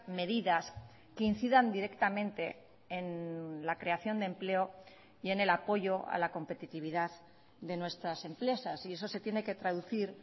medidas que incidan directamente en la creación de empleo y en el apoyo a la competitividad de nuestras empresas y eso se tiene que traducir